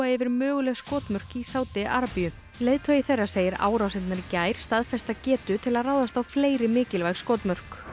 yfir möguleg skotmörk í Sádi Arabíu leiðtogi þeirra segir árásirnar í gær staðfesta getu til að ráðast á fleiri mikilvæg skotmörk